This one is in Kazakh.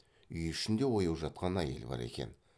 үй ішінде ояу жатқан әйел бар екен